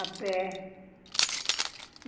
A pé.